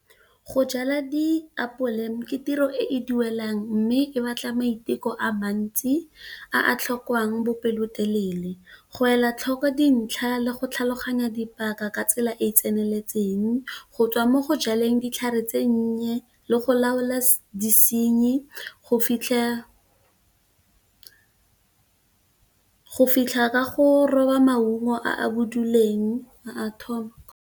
Go jala diapole ke tiro e e duelang mme, e batla maiteko a mantsi a tlhokang bopelotelele go ela tlhoko dintlha le go tlhaloganya dipaka ka tsela e e tseneletseng, go tswa mo go jaleng ditlhare tse nnye, le go laola disenyi, go fitlha ka go roba maungo a boduleng a thobo.